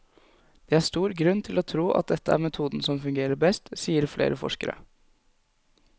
Det er stor grunn til å tro at dette er metoden som fungerer best, sier flere forskere.